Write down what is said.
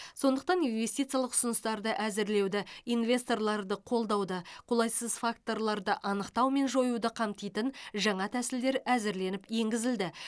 сондықтан инвестициялық ұсыныстарды әзірлеуді инвесторларды қолдауды қолайсыз факторларды анықтау мен жоюды қамтитын жаңа тәсілдер әзірленіп енгізілді